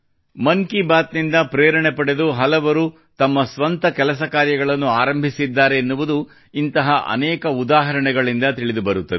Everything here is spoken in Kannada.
ಮನ್ ಕಿ ಬಾತ್ ನಿಂದ ಪ್ರೇರಣೆ ಪಡೆದು ಹಲವರು ತಮ್ಮ ಸ್ವಂತ ಕೆಲಸಕಾರ್ಯಗಳನ್ನು ಆರಂಭಿಸಿದ್ದಾರೆನ್ನುವುದು ಇಂತಹ ಅನೇಕ ಉದಾಹರಣೆಗಳಿಂದ ತಿಳಿದು ಬರುತ್ತದೆ